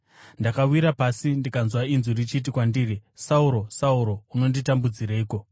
Ndakawira pasi ndikanzwa inzwi richiti kwandiri, ‘Sauro! Sauro! Unonditambudzireiko?’